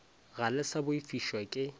ga le sa boifišwa ke